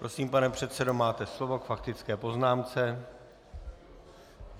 Prosím, pane předsedo, máte slovo k faktické poznámce.